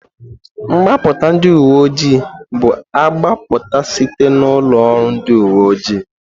Mgbapụta ndị uwe ojii bu agbapụta site n'ụlọ oru ndị uwe ojii.